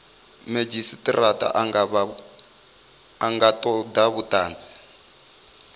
madzhisitirata a nga toda vhutanzi